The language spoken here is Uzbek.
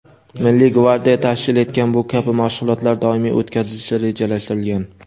Milliy gvardiya tashkil etgan bu kabi mashg‘ulotlar doimiy o‘tkazilishi rejalashtirilgan.